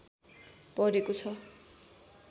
परेको छ